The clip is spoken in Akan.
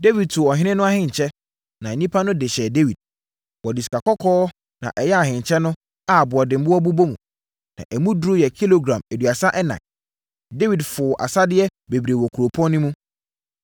Dawid tuu ɔhene no ahenkyɛ, na nnipa no de hyɛɛ Dawid. Wɔde sikakɔkɔɔ na ɛyɛɛ ahenkyɛ no a aboɔdemmoɔ bobɔ mu. Na emu duru yɛ kilogram aduasa ɛnan. Dawid foo asadeɛ bebree wɔ kuropɔn no mu.